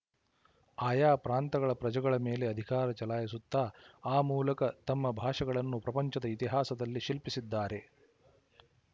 ಆಯಾ ಪ್ರಾಂತಗಳ ಪ್ರಜೆಗಳ ಮೇಲೆ ಅಧಿಕಾರ ಚಲಾಯಿಸುತ್ತಾ ಆ ಮೂಲಕ ತಮ್ಮ ಭಾಷೆಗಳನ್ನು ಪ್ರಪಂಚದ ಇತಿಹಾಸದಲ್ಲಿ ಶಿಲ್ಪಿಸಿದ್ದಾರೆ